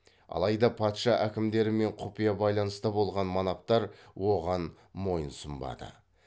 алайда патша әкімдерімен құпия байланыста болған манаптар оған мойынсұнбады